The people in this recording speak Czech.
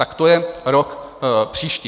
Tak to je rok příští.